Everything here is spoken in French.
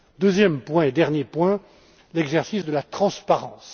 Deuxième et dernier point, l'exercice de la transparence.